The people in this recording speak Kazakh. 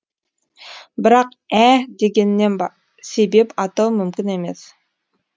бірақ ә дегеннен себеп атау мүмкін емес